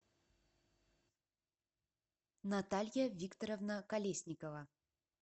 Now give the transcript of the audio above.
наталья викторовна колесникова